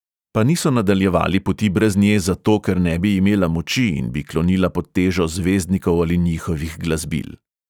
Pa niso nadaljevali poti brez nje zato, ker ne bi imela moči in bi klonila pod težo zvezdnikov ali njihovih glasbil.